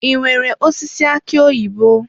I nwèrè osisi aki oyibo?